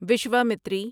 Vishwamitri